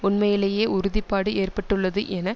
உண்மையிலேயே உறுதிப்பாடு ஏற்பட்டுள்ளது என